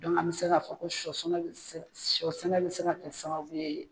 an mi se ka fɔ ko sɔ sɛnɛ bi se ka kɛ sababu ye